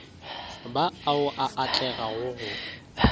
ba ao a atlegago go